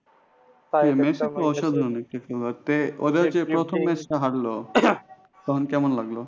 তে মেসি তো অসাধারণ একটা খেলোয়াড় তে ওদের যে প্রথম match টা হারলো, তখন কেমন লাগলো?